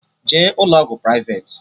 Jee ụlọ ọgwụ privati!